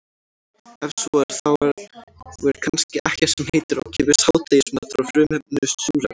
Ef svo er þá er kannski ekkert sem heitir ókeypis hádegismatur á frumefninu súrefni.